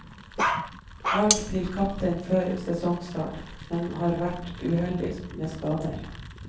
Valgt til kaptein før sesongstart, men har vært uheldig med skader.